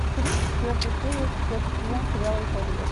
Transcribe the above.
тридцать четвертая серия четвертый сезон сериала эйфория